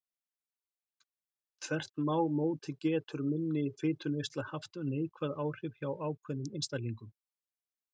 Þvert má móti getur minni fituneysla haft neikvæð áhrif hjá ákveðnum einstaklingum.